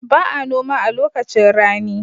Ba a noma a lokacin rani.